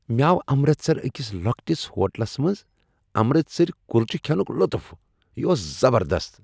مےٚ آو امرتسرٕ أکس لۄکٹس ہوٹلس منز امرتسری کلچہ کھینک لطف۔ یہ اوس زبردست۔